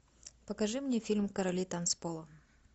покажи мне фильм короли танцпола